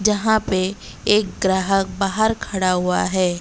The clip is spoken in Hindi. यहां पे एक ग्राहक बाहर खड़ा हुआ है।